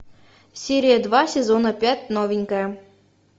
серия два сезона пять новенькая